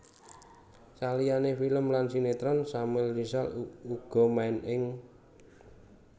Saliyane film lan sinetron Samuel Rizal uga main ing